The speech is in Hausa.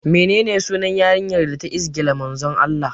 Menene sunan yarinya da ta izgila Manzon Allah?